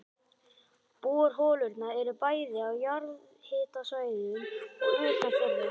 Borholurnar eru bæði á jarðhitasvæðum og utan þeirra.